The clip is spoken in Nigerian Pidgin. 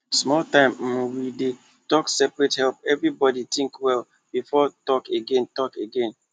small time um wey dem take separate help everybody think well before talk again talk again